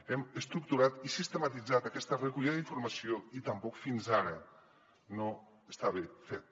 hem estructurat i sistematitzat aquesta recollida d’informació i tampoc fins ara no estava fet